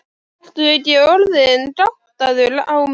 Ertu ekki orðinn gáttaður á mér.